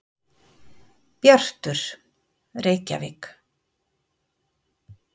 Bjartur, Reykjavík.